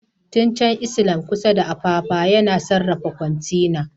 Tin Can Island Port kusa da Apapa yana sarrafa kwantena.